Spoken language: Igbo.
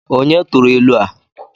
Onye turu ilu a?